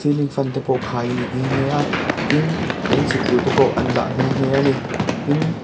ceiling fan te pawh khai a ni nghe nghe a tin eng chhit tur te pawh an dah nghe nghe a ni tin--